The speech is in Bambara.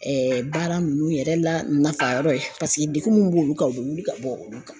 baara nunnu yɛrɛ la nafa yɔrɔ ye degun mun b'olu kan, o bɛ wuli ka bɔ olu kan.